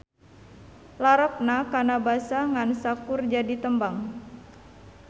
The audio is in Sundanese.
Larapna kana basa ngan saukur jadi tembang.